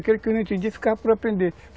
Aquele que não entendia, ficava para aprender.